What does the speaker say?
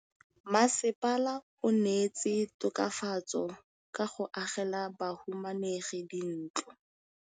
Mmasepala o neetse tokafatsô ka go agela bahumanegi dintlo.